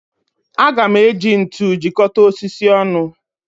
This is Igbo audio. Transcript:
Aga m eji ntu jikọta osisi ọnụ